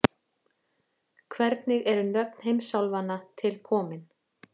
Hvernig eru nöfn heimsálfanna til komin?